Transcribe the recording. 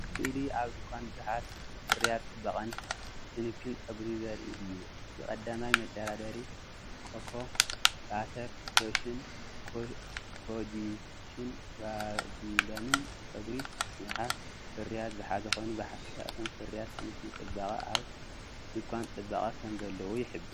እዚ ስእሊ ኣብ ድኳን ብዙሓት ፍርያት ጽባቐን ክንክን ጸጉርን ዘርኢ እዩ። እቲ ቀዳማይ መደርደሪ ኮኮ ባተር ሎሽን፣ ኮጂክን ቫዝሊንን ንጸጉሪ ምሕብሓብ ፍርያት ዝሓዘ ኮይኑ ብሓፈሻ እቶም ፍርያት ክንክን ጽባቐ ኣብ ድኳን ጽባቐ ከምዘለዉ ይሕብር።